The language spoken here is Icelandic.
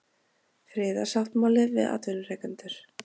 Friðarsáttmáli við atvinnurekendur